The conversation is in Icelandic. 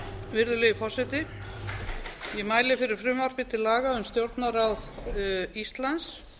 virðulegi forseti ég mæli fyrir frumvarp til laga um stjórnarráð íslands